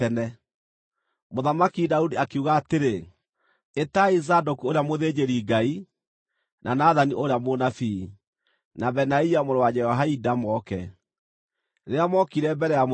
Mũthamaki Daudi akiuga atĩrĩ, “Ĩtai Zadoku ũrĩa mũthĩnjĩri-Ngai, na Nathani ũrĩa mũnabii, na Benaia mũrũ wa Jehoiada moke.” Rĩrĩa mookire mbere ya mũthamaki,